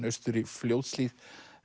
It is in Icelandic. austur í Fljótshlíð